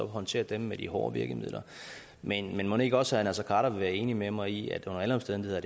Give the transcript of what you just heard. håndtere dem med de hårde virkemidler men mon ikke også herre naser khader vil være enig med mig i at under alle omstændigheder